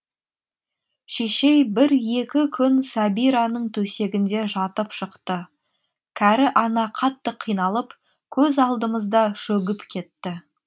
шешей бір екі күн сәбираның төсегінде жатып шықты кәрі ана қатты қиналып көз алдымызда шөгіп кетті